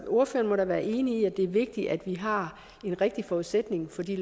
ordføreren må da være enig i at det er vigtigt at vi har den rigtige forudsætning for de